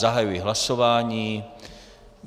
Zahajuji hlasování.